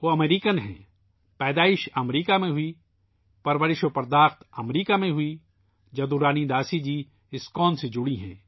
وہ امریکی ہیں ، پیدائش امریکہ میں ہوئی ، پرورش امریکہ میں ہوئی ، جدو رانی داسی جی اسکون سے جڑی ہیں